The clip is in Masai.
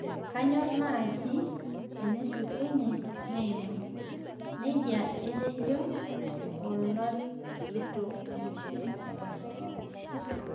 Kanyor naaji enshukunye neima nejia etejo olorikito entim e Bacelona